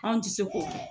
Anw tɛ se k'o kɛ